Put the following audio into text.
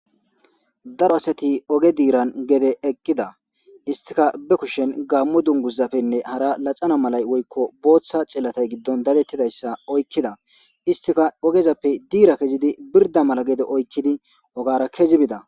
Daro asati oge diiran gede eqqida istika be kushen gammu dunguzafene hara laxana malay woyiko botha cillatay giddon dadettidayssa oykkida istika ogezappe diira kezidi birda mala gede oykkidi ogara kezi bida